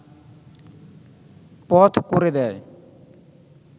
পথ করে দেয়